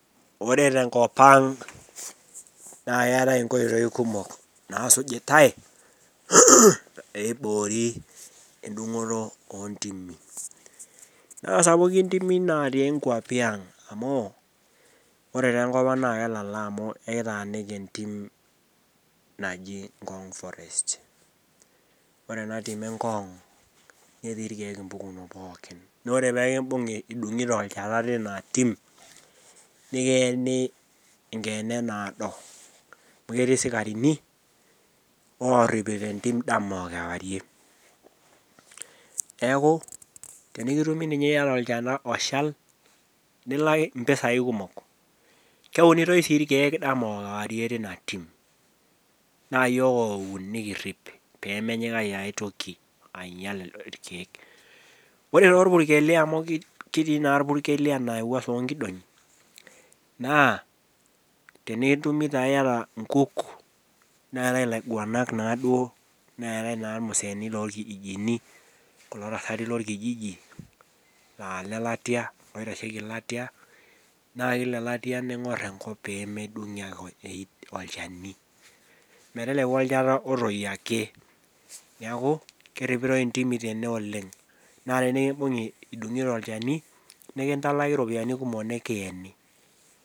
Ore tenkop ang naa keetae inkoitoi kumok naasujitae peiboori endung'oto ontimi naa sapuki intimi natii inkuapi ang amu ore taa enkop ang naa kelala amu ekitaaniki entim naji ngong forest ore ena tim e ngong netii irkeek impukunot pookin noore pekimbung'i idung'ito olchata tina tim nikiyeni enkeene naado amu ketii isikarini orripito entim dama okewarie neeku tenikitumi ninye iyata olchata oshal nilak impisai kumok keunitoi sii irkeek dama okewarie tina tim naa yiok oun nikirrip pemenyikaki aetoki ainyial irkeek ore torpukeli amu kitii naa irpurkeli anaa ewuaso onkidong'i naa tenetumi taa iyata inkuuk neetae ilaiuguanak naaduo neetae ilmuseeni lolkijijini kulo tasati lorkijiji laa ilelatia loitasheki latia maa kila elatia ning'orr enkop pee medung'i ake oe olchani meteleku olchata otoyio ake niaku keripitoi intimi tene oleng naa tenikimbung'i idung'ito olchani nikintalaki iropiyianikumok nikiyeni.